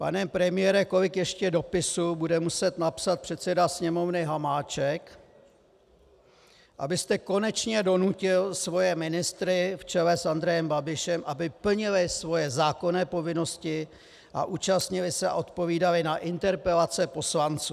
Pane premiére, kolik ještě dopisů bude muset napsat předseda Sněmovny Hamáček, abyste konečně donutil svoje ministry v čele s Andrejem Babišem, aby plnili svoje zákonné povinnosti a účastnili se a odpovídali na interpelace poslanců?